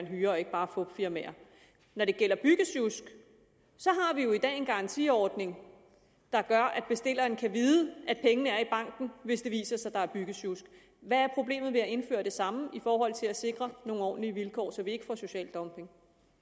hyret og ikke bare fupfirmaer når det gælder byggesjusk har vi jo i dag en garantiordning der gør at bestilleren kan vide at pengene er i banken hvis det viser sig at der er byggesjusk hvad er problemet med at indføre det samme i forhold til at sikre nogle ordentlige vilkår så vi ikke får social dumping